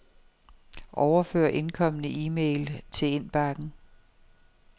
Overfør indkomne e-mail til indbakken.